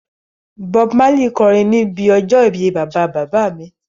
Bob Marley kọrin níbi ọjọ́ ìbí bàbá bàbá mi